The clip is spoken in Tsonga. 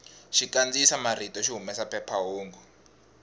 xikandziyisa marito xi humesa phephahungu